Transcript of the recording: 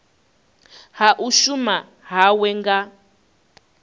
ha u shuma hawe nga